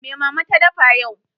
Me Mama ta dafa yau?